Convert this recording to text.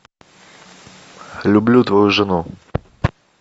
люблю твою жену